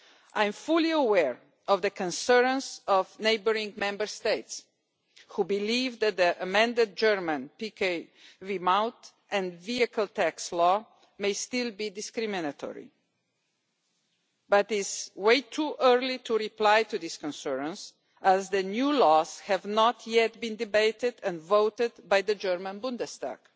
I am fully aware of the concerns of neighbouring Member States which believe that the amended German PkW Maut and vehicle tax law may still be discriminatory, but it is way too early to reply to these concerns as the new laws have not yet been debated and voted on in the German Bundestag.